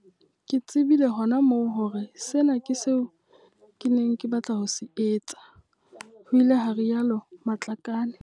Ke tse bile hona moo hore sena ke seo ke neng ke batla ho se etsa, ho ile ha rialo Matlakane.